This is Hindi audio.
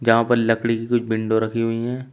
यहां पर लकड़ी की कोई विंडो रखी हुई हैं।